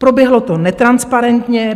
Proběhlo to netransparentně.